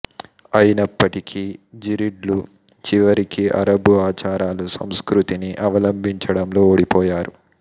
అయినప్పటికీ జిరిడ్లు చివరికి అరబు ఆచారాలు సంస్కృతిని అవలంబించడంలో ఓడిపోయారు